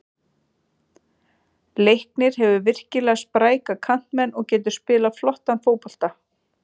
Leiknir hefur virkilega spræka kantmenn og getur spilað flottan fótbolta.